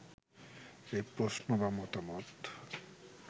এই প্রশ্ন বা মতামত